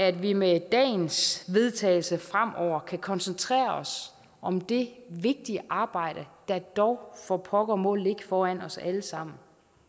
at vi med dagens vedtagelse fremover kan koncentrere os om det vigtige arbejde der dog for pokker må ligge foran os alle sammen